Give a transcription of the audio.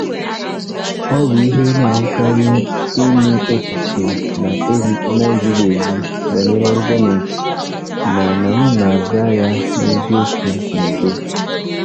Ọ bụ ihe a na-ahụkarị ịnụ echiche na-ezighị ezi banyere ọrụ gọọmentị, mana m na-aza ya na eziokwu n'udo.